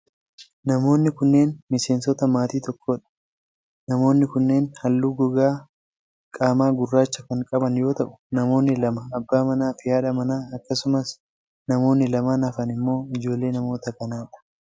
Namoonni kunneen miseensota maatii tokkoo dha. Namoonni kunneen haalluu gogaa qaamaa gurraacha kan qaban yoo ta'u, namoonni lama abbaa manaa fi haadha manaa akkasumas namoonni lamaan hafan immoo ijoollee namoota kanaa dha.